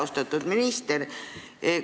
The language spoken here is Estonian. Austatud minister!